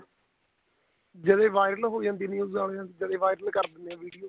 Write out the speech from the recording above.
ਜਦੋਂ ਇਹ viral ਹੋ ਜਾਂਦੀ news ਵਾਲੀਆਂ ਜਦੇ viral ਕਰ ਦਿੰਦੇ ਏ video